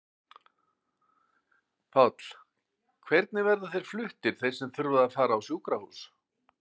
Páll: Hvernig verða þeir fluttir þeir sem þurfa að fara á sjúkrahús?